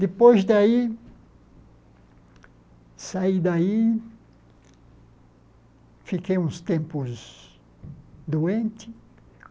Depois daí, saí daí, fiquei uns tempos doente.